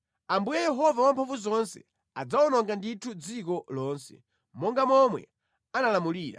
Ambuye Yehova Wamphamvuzonse adzawononga ndithu dziko lonse monga momwe analamulira.